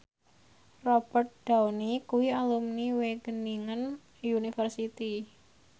Robert Downey kuwi alumni Wageningen University